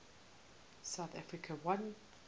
south africa won